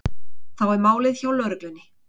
Þá er málið hjá lögreglunni